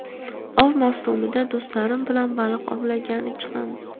Ov mavsumida do‘stlarim bilan baliq ovlagani chiqamiz.